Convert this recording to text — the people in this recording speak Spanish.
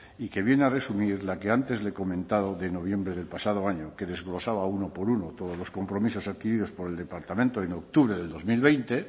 y que viene a resumir la que antes le he comentado de noviembre del pasado año que desglosaba uno por uno todos los compromisos adquiridos por el departamento en octubre del dos mil veinte